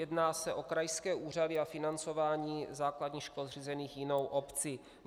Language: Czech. Jedná se o krajské úřady a financování základních škol, zřízených jinou obcí.